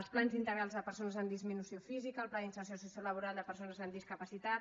els plans integrals de persones amb disminució física el pla d’inserció sociolaboral de persones amb discapacitat